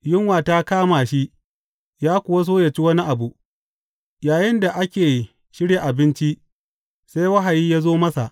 Yunwa ta kama shi ya kuwa so yă ci wani abu, yayinda ake shirya abinci, sai wahayi ya zo masa.